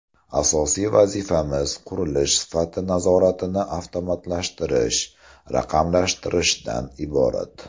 Asosiy vazifamiz qurilish sifati nazoratini avtomatlashtirish, raqamlashtirishdan iborat”.